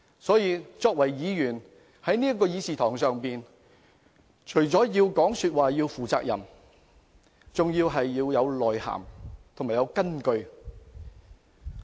所以，作為議員，在這個議事堂上發言，便應要負責任，說話要有內涵和有根有據。